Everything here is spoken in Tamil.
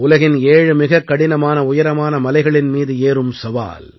உலகின் ஏழு மிகக் கடினமான உயரமான மலைகளின் மீது ஏறும் சவால்